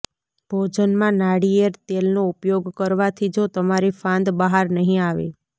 ભોજનમાં નાળીયેળ તેલનો ઉપયોગ કરવાથી જો તમારી ફાંદ બહાર નહીં આવે